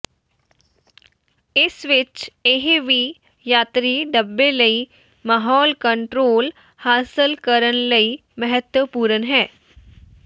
ਇਸ ਵਿਚ ਇਹ ਵੀ ਯਾਤਰੀ ਡੱਬੇ ਲਈ ਮਾਹੌਲ ਕੰਟਰੋਲ ਹਾਸਲ ਕਰਨ ਲਈ ਮਹੱਤਵਪੂਰਨ ਹੈ